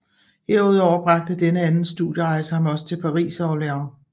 Herudover bragte denne anden studierejse ham også til Paris og Orleans